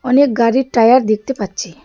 অনেক গাড়ির টায়ার দেখতে পাচ্ছি।